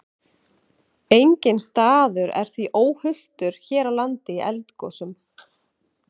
Enginn staður er því óhultur hér á landi í eldgosum.